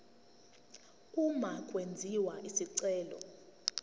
uma kwenziwa isicelo